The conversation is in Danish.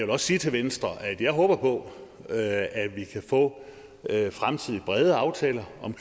også sige til venstre at jeg håber på at at vi kan få fremtidige brede aftaler om